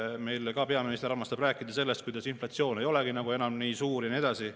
Meil peaminister armastab rääkida sellest, kuidas inflatsioon ei olegi enam nii suur, ja nii edasi.